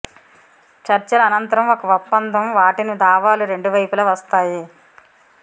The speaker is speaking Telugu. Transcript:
చర్చల అనంతరం ఒక ఒప్పందం వాటిని దావాలు రెండు వైపులా వస్తాయి